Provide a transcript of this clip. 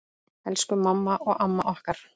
Elsku mamma og amma okkar.